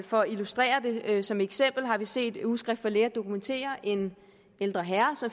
for at illustrere det som eksempel har vi set ugeskrift for læger dokumentere at en ældre herre